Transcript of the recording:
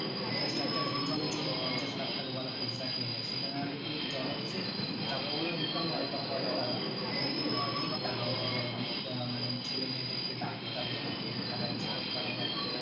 তো just একটা video এর জন্য পঞ্চাশ লাখ টাকা ওয়ালা pizza খেয়ে নেই সেখানে হয়তো তুই dollars এ টাকা গুলো income হয় তো পরে তারা কিন্তু অনেক টাকা ওরাই ভাই অনেক আহ মানে ছেলে মেয়েদের কে ডাকে তাদেরকে game খেলায় জিততে পারলে ভাই